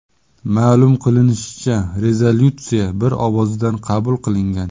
Ma’lum qilinishicha, rezolyutsiya bir ovozdan qabul qilingan.